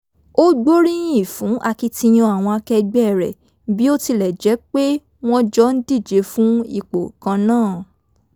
ó gbóríyìn fún akitiyan àwọn akẹgbẹ́ rẹ̀ bí ó tilẹ̀ jẹ́ pe wọn jọ ń díje fún ipò kan náà